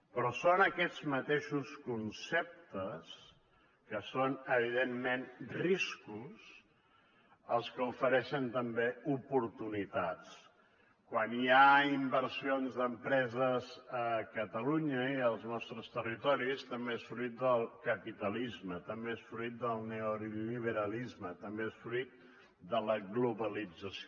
però són aquests mateixos conceptes que són evidentment riscos els que ofereixen també oportunitats quan hi ha inversions d’empreses a catalunya i als nostres territoris també és fruit del capitalisme també és fruit del neoliberalisme també és fruit de la globalització